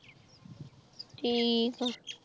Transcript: ਠੀਕ ਆ